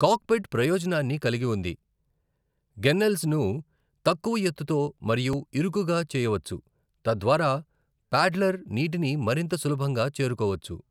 Cockpit ప్రయోజనాన్ని కలిగి ఉంది, గన్నెల్స్ ను తక్కువ ఎత్తుతో మరియు ఇరుకుగా చేయవచ్చు, తద్వారా ప్యాడ్లర్ నీటిని మరింత సులభంగా చేరుకోవచ్చు.